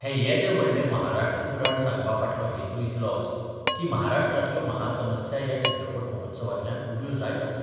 हें येदें व्हडलें महाराष्ट्र पुराण सांगपा फाटलो हेतू इतलोच की महाराष्ट्रांतल्यो महासमस्या ह्या चित्रपट महोत्सवांतल्यान उब्यो जायत आसात.